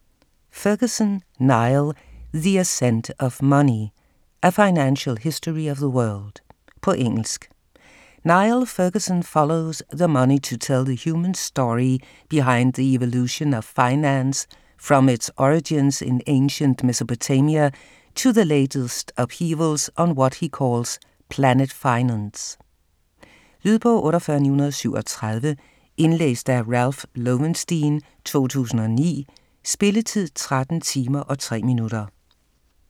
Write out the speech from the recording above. Ferguson, Niall: The ascent of money: a financial history of the world På engelsk. Niall Ferguson follows the money to tell the human story behind the evolution of finance, from its origins in ancient Mesopotamia to the latest upheavals on what he calls Planet Finance. Lydbog 48937 Indlæst af Ralph Lowenstein, 2009. Spilletid: 13 timer, 3 minutter.